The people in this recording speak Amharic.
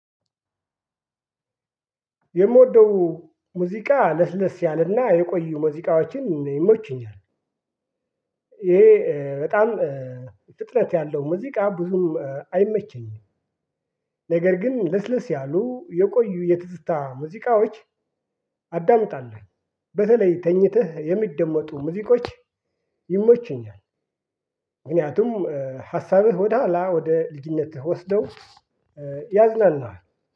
የምወደው ሙዚቃ ለስለስ ያለና የቆዩ ሙዚቃዎችን ይመቹኛል። ይሄ በጣም ፍጥነት ያለው ሙዚቃ ብዙም አይመቸኝም። ነገር ግን ለስለስ ያሉ የቆዩ የትዝታ ሙዚቃዎች አዳምጣለሁኝ። በተለይ ተኝተህ የሚደመጡ ሙዚቆች ይመቹኛል ምክንያቱም ሀሳብህ ወደ ኃላ ወደ ልጅነትህ ወስደው ያዝናኑሀል።